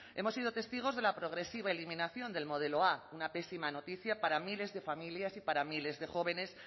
hemos sido testigos de la progresiva eliminación del modelo a una pésima noticia para miles de familias y para miles de jóvenes